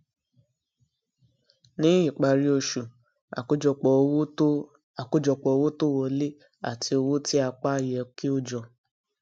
ní ìparí oṣù àkójọpọ owó tó àkójọpọ owó tó wọlé àti owó tí a pa yẹ kí ó jọ